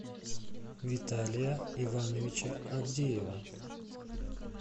виталия ивановича авдеева